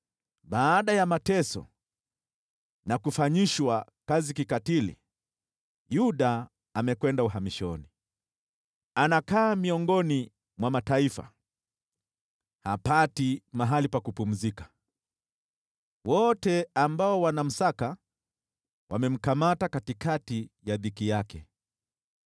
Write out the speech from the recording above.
Baada ya mateso na kufanyishwa kazi kikatili, Yuda amekwenda uhamishoni. Anakaa miongoni mwa mataifa, hapati mahali pa kupumzika. Wote ambao wanamsaka wamemkamata katikati ya dhiki yake.